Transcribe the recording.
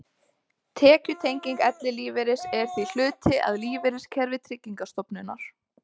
Tekjutenging ellilífeyris er því hluti af lífeyriskerfi Tryggingarstofnunar.